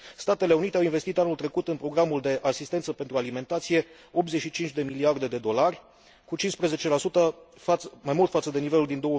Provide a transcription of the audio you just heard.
Statele Unite au investit anul trecut în programul de asistență pentru alimentație 85 de miliarde de dolari, cu 15 mai mult față de nivelul din